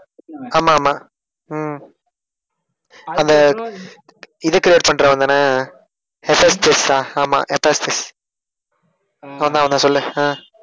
ஆமா ஆமா உம் அந்த இது create பண்றவன்தானே ஆமா அவன்தான் அவன்தான் சொல்லு